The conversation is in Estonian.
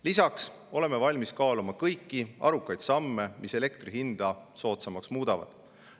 Lisaks oleme valmis kaaluma kõiki arukaid samme, mis elektri hinda soodsamaks muudavad.